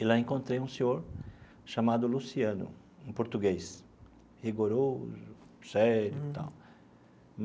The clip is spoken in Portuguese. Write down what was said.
E lá encontrei um senhor chamado Luciano, um português rigoroso, sério e tal.